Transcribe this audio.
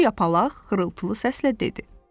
Kor yapalaq xırıltılı səslə dedi: